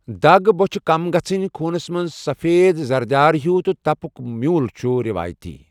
دَگ ، بوچھہِ كم گژھنہِ ، خوُنس منز سفید زرٕدیارہیوٚو تہٕ تپُك میوٗل چھُ ریوایتی۔